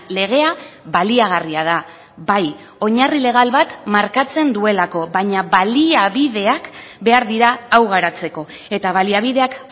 legea baliagarria da bai oinarri legal bat markatzen duelako baina baliabideak behar dira hau garatzeko eta baliabideak